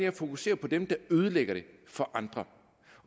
at fokusere på dem der ødelægger det for andre